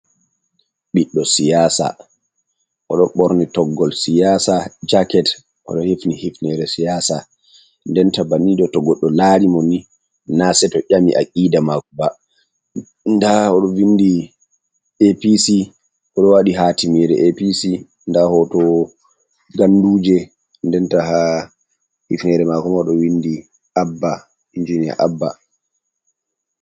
Biɗdo siyasa odo ɓorni toggol siyasa jaket odo hifni hifnere siyasa, denta banido to goddo larimoni na sei to ƴami a kida mako ba d odo vindi apc odo wadi ha timire apc da hoto ganduje denta ha hifnere makoma odo windi abba injinia abba.